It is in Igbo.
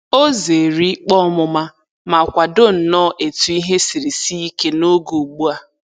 O zeere ikpe ọmụma ma kwado nnọọ etu ihe siri sie ike n'oge ugbu a.